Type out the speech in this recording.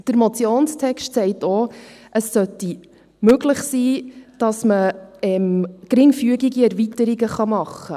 Der Motionstext sagt auch, dass es möglich sein sollte, dass man geringfügige Erweiterungen machen kann.